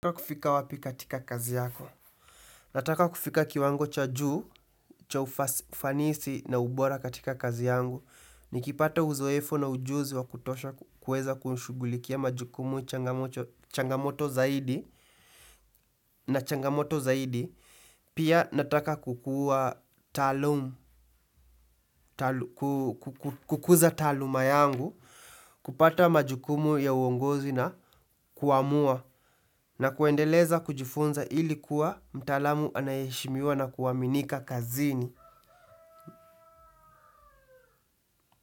Unataka kufika wapi katika kazi yako. Nataka kufika kiwango cha juu, cha ufanisi na ubora katika kazi yangu. Nikipata uzoefu na ujuzi wa kutosha kuweza kushughulikia majukumu changamoto zaidi na changamoto zaidi. Pia nataka kukuza taaluma yangu kupata majukumu ya uongozi na kuamua na kuendeleza kujifunza ili kuwa mtaalamu anayeheshimiwa na kuaminika kazini.